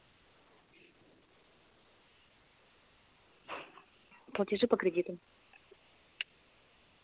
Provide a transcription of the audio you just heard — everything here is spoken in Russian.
платежи по кредитам